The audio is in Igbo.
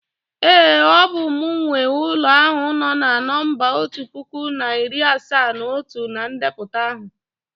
ee, ọ bụ m nwe ulo ahu no na nọmba otu puku na iri asaa na otu na ndepụta ahụ